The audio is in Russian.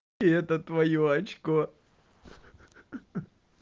и это твоё очко